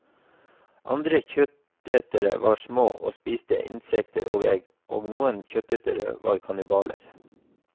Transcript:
Andre kjøttetere var små og spiste insekter og egg, og noen kjøttetere var kannibaler.